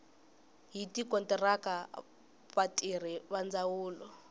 hi tikontiraka vatirhi va ndzawulo